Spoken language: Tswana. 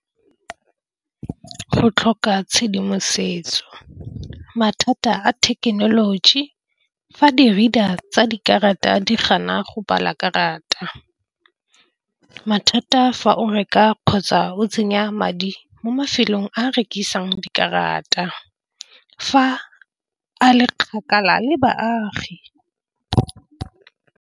Go tlhoka tshedimosetso mathata a thekenoloji fa di-reader tsa dikarata di gana go bala karata. Mathata fa o reka kgotsa o tsenya madi mo mafelong a rekisang dikarata fa a le kgakala le baagi.